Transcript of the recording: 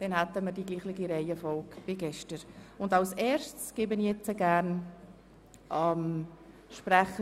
Dann haben wir genau dieselbe Reihenfolge, in der sie gestern bereits eingetragen waren.